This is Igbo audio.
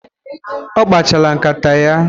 Ọ kpachala nkata ya